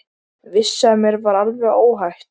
Vissi að mér var alveg óhætt.